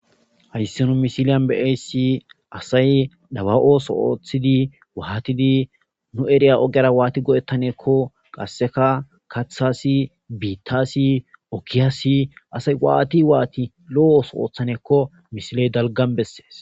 Hays nu misilen be'iyays asay daba ooso oothid watid nu eriya ogera wati go'etaneko qaseka kathas,bittas,okiyas asay waat waat lo'o ooso othanako misiley dalgan beses.